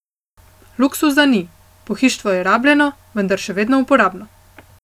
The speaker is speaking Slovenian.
Luksuza ni, pohištvo je rabljeno, vendar še vedno uporabno.